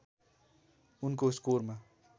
उनको स्कोरमा